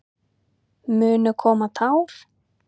Munu koma tár?